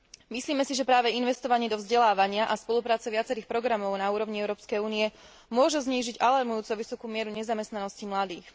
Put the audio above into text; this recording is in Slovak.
Myslíme si, že práve investovanie do vzdelávania a spolupráca viacerých programov na úrovni Európskej únie môže znížiť alarmujúco vysokú mieru nezamestnanosti mladých.